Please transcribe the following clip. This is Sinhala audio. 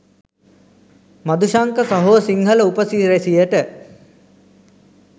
මදුශංක සහෝ සිංහල උපසිරැසියට